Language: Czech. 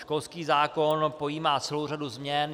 Školský zákon pojímá celou řadu změn.